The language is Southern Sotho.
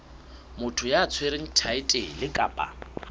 motho ya tshwereng thaetlele kapa